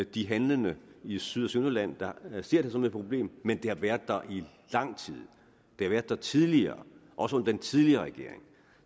de handlende i syd og sønderjylland der ser det som et problem men det har været der i lang tid det har været der tidligere også under den tidligere regering